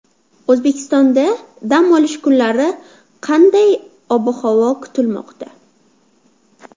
O‘zbekistonda dam olish kunlari qanday ob-havo kutilmoqda?.